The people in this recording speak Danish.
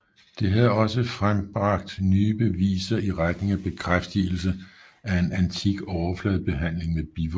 Det har også frembragt nye beviser i retning af bekraftigelse af en antik overfladebehandling med bivoks